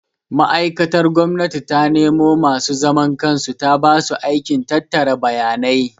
Ma'aikatar gwamnati ta nemo masu zaman kansu ta basu aikin tattara bayanai